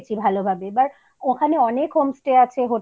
দেখেছি ভালোভাবে এবার ওখানে অনেক homestay আছে হোটেল